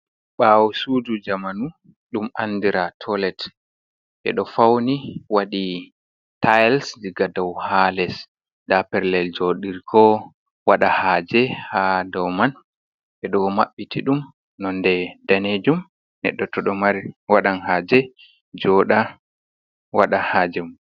Ɓawo sudu jamanu ɗum andira toilet. Ɓeɗo fauni waɗi tiles diga dou ha les, nda pellel joɗirgo waɗa haje ha dou man ɓedo maɓɓiti ɗum nonde danejum. Neɗɗo to ɗo waɗan haaje, joɗa waɗa haaje mun.